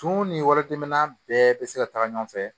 Tumu ni wari tɛmɛna bɛɛ bɛ se ka taga ɲɔgɔn fɛ